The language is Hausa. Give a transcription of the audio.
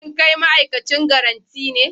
Shin kai ma'aikacin garanti ne?